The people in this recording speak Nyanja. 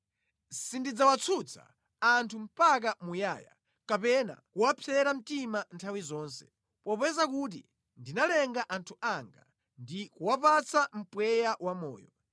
Sindidzawatsutsa anthu mpaka muyaya kapena kuwapsera mtima nthawi zonse, popeza kuti ndinalenga anthu anga ndi kuwapatsa mpweya wamoyo.